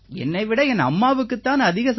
என்னை விட என் அம்மாவுக்குத் தான் அதிக